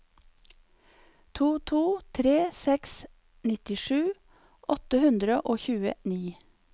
to to tre seks nittisju åtte hundre og tjueni